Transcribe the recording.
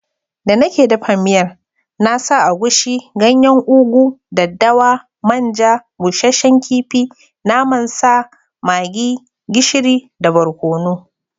Da nake dafa miyan na sa agushi, ganyen ugu, daddawa, man ja, bushsshen kifi, naman sa, maggi, gishiri da barkonu.